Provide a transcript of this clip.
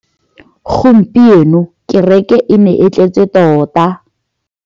Gompieno kêrêkê e ne e tletse tota.